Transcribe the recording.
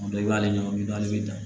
Dɔw b'ale ɲɛ bi naani bɛ taa